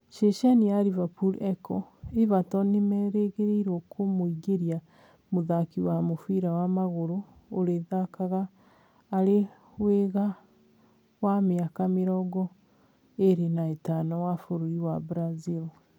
(Ceceni ya Liverpool Echo) Evertron Nĩmerĩgĩrĩirwo kũmũingĩria mũthaki wa mũbira wa magũrũ urithakaga arĩ wing'a wa mĩaka mĩrongo ĩrĩ na itano wa bũrũri wa Branzil